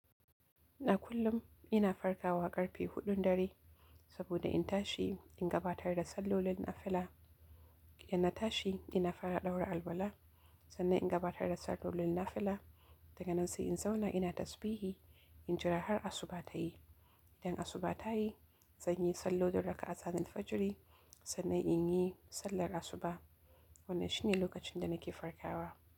A kullum ina farkawa ƙarfe huɗun dare, saboda in tashi in gabatar da sallolin nafila. In na tashi ina fara ɗaura alaula, sannan in gabatar da sallolin nafila. Daga nan sai in zauna ina tasbihi in jira har asuba ta yi. Idan asuba tayi, zanyi sallolin raka'a tanil fajiri, sannan in yi sallar asuba. Wannan shine lokacin da nake farkawa.